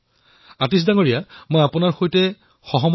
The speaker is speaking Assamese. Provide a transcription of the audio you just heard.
আতীশজী মই আপোনাৰ সৈতে সহমত